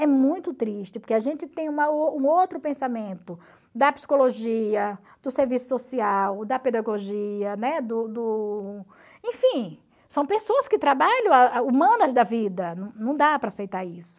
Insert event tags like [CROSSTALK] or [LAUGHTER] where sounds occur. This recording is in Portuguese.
É muito triste, porque a gente tem uma [UNINTELLIGIBLE] um outro pensamento da psicologia, do serviço social, da pedagogia, né do do enfim, são pessoas que trabalham, [UNINTELLIGIBLE] humanas da vida, não não dá para aceitar isso.